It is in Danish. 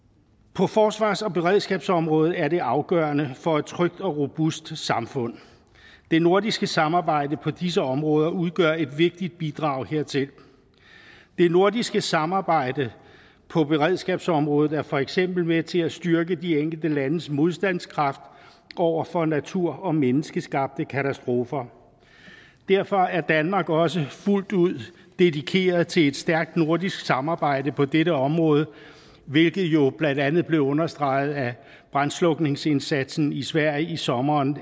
på forsvars og beredskabsområdet er det afgørende for et trygt og robust samfund det nordiske samarbejde på disse områder udgør et vigtigt bidrag hertil det nordiske samarbejde på beredskabsområdet er for eksempel med til at styrke de enkelte landes modstandskraft over for natur og menneskeskabte katastrofer derfor er danmark også fuldt ud dedikeret til et stærkt nordisk samarbejde på dette område hvilket jo blandt andet blev understreget af brandslukningsindsatsen i sverige i sommeren